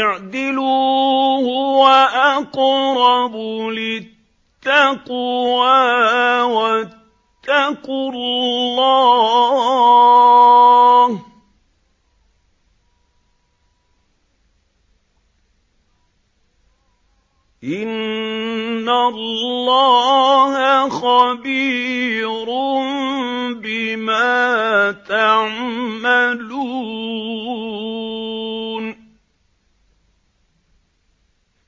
اعْدِلُوا هُوَ أَقْرَبُ لِلتَّقْوَىٰ ۖ وَاتَّقُوا اللَّهَ ۚ إِنَّ اللَّهَ خَبِيرٌ بِمَا تَعْمَلُونَ